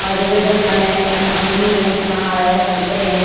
और जैसे इधर फल है अन है अनार है संतरे हैं।